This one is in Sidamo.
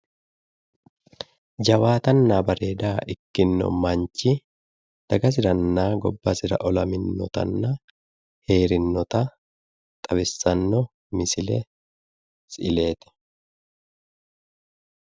Jawaatanna bareeda ikkino manchi dagasiranna gobbasira olaminotanna xawissannota misile woyi siileeti